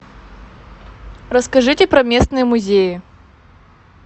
расскажите про местные музеи